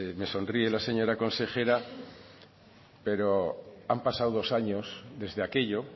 me sonríe la señora consejera pero han pasado dos años desde aquello